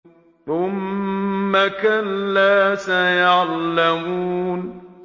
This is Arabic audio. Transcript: ثُمَّ كَلَّا سَيَعْلَمُونَ